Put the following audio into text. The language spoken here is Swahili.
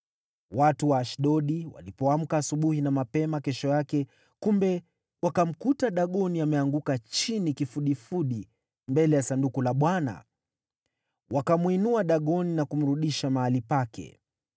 Watu wa Ashdodi walipoamka asubuhi na mapema kesho yake, kumbe, wakamkuta Dagoni ameanguka chini kifudifudi mbele ya Sanduku la Bwana ! Wakamwinua Dagoni na kumrudisha mahali pake.